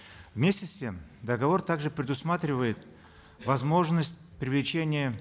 вместе с тем договор также предусматривает возможность привлечения